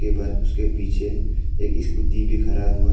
But उसके पीछे एक स्कूटी भी खरा हुआ है।